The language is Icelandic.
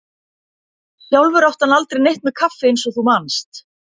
Sjálfur átti hann aldrei neitt með kaffi eins og þú manst.